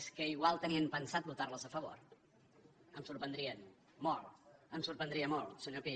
és que igual tenien pensat votar les a favor em sorprendrien molt molt em sorprendria molt senyor pi